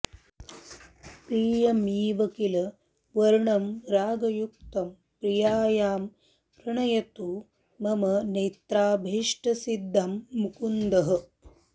प्रियमिव किल वर्णं रागयुक्तं प्रियायाः प्रणयतु मम नेत्राभीष्टसिद्धिं मुकुन्दः